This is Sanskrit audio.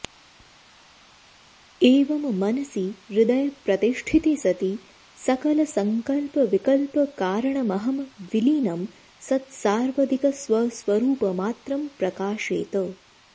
एवं मनसि हृदय प्रतिष्ठिते सति सकलसङ्कल्पविकल्पकारणमहं विलीनं सत्सार्वदिक स्वस्वरूपमात्रं प्रकाशेत